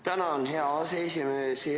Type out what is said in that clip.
Tänan, hea aseesimees!